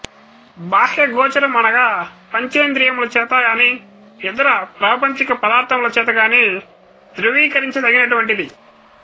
బాహ్యగోచరము అనగా పంచేంద్రియముల చేత కానీ ఇతర ప్రాపంచిక పదార్థములచేత కానీ ధ్రువీకరించదగినటువంటిది